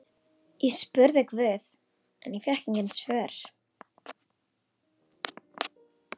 Ég spurði guð en fékk engin svör.